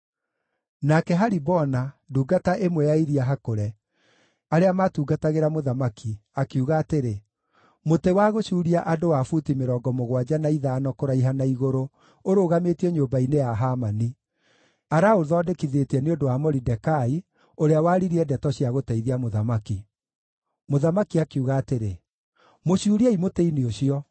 Nake Haribona, ndungata ĩmwe ya iria hakũre, arĩa maatungatagĩra mũthamaki, akiuga atĩrĩ, “Mũtĩ wa gũcuuria andũ wa buti mĩrongo mũgwanja na ithano kũraiha na igũrũ ũrũgamĩtio nyũmba-inĩ ya Hamani. Araũthondekithĩtie nĩ ũndũ wa Moridekai, ũrĩa waririe ndeto cia gũteithia mũthamaki.” Mũthamaki akiuga atĩrĩ, “Mũcuuriei mũtĩ-inĩ ũcio!”